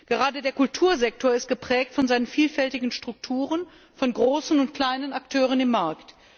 Gerade der Kultursektor ist geprägt von seinen vielfältigen Strukturen, von großen und kleinen Akteuren am Markt.